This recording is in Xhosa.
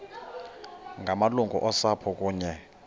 ngamalungu osapho kunye